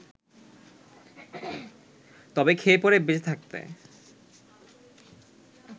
তবে খেয়ে-পরে বেঁচে থাকতে